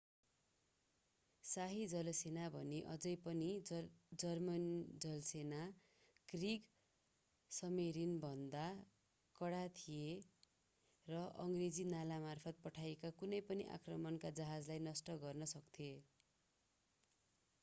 शाही जलसेना भने अझै पनि जर्मन जलसेना क्रिग्समेरिन”भन्दा कडा थियो र अङ्ग्रेजी नालामार्फत पठाइएका कुनै पनि आक्रमणका जहाजलाई नष्ट गर्न सक्थ्यो।